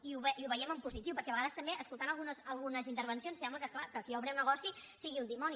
i ho veiem en positiu perquè a vegades també escoltant algunes intervencions sembla que clar qui obre un negoci sigui un dimoni